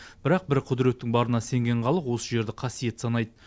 бірақ бір құдіреттің барына сенген халық осы жерді қасиетті санайды